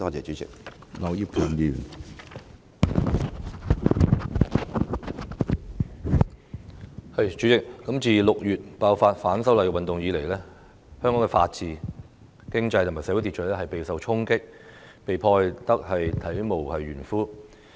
主席，自6月爆發反修例運動以來，香港的法治、經濟和社會秩序備受衝擊，並被破壞至體無完膚。